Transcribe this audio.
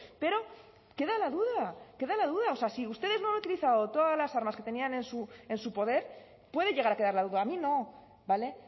pero queda la duda queda la duda o sea si ustedes no han utilizado todas las armas que tenían en su poder puede llegar a quedar la duda a mí no vale